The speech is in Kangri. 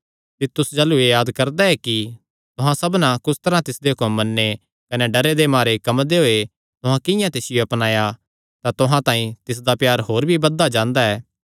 तीतुस जाह़लू एह़ याद करदा ऐ कि तुहां सबना कुस तरांह तिसदे हुक्म मन्ने कने डरे दे मारे कम्मदे होये तुहां किंआं तिसियो अपनाया तां तुहां तांई तिसदा प्यार होर भी बधदा जांदा ऐ